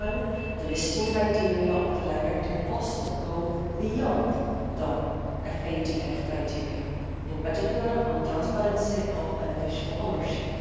the same time, the listing criteria of the directive also go beyond the FATF criteria, in particular on transparency of beneficial ownership.